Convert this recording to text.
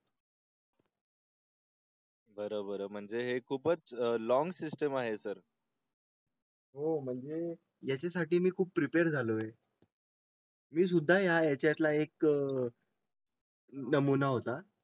बर बर म्हणजे हे खूपच लॉन्ग सिस्टीम आहे सर. हो म्हणजे यासाठी मी खूप प्रीपेर झालोय. मी सुद्धा याच्यात ला एक . नमुना होता.